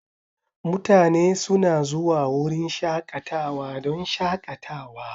Mutane suna zuwa wurin shakatawa don shakatawa.